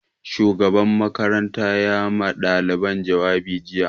Shugaban makaranta ya ma ɗaliban jawabi jiya